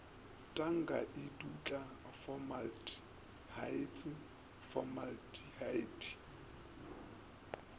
tanka e dutla fomaltehaete formaldehyde